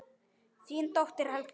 Þín dóttir Helga.